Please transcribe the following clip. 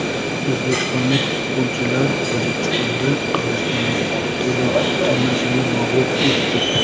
O‘zbekistonlik futbolchilar Tojikistonda Qirg‘iziston termasini mag‘lub etdi.